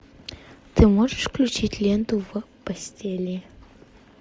ты можешь включить ленту в постели